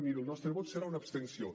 miri el nostre vot serà una abstenció